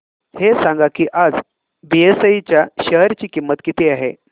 हे सांगा की आज बीएसई च्या शेअर ची किंमत किती आहे